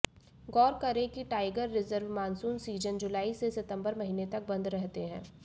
गौर करें कि tiger reserve monsoon season जुलाई से सितंबर महीने तक बंद रहते हैं